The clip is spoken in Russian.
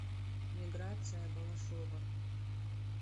миграция балашова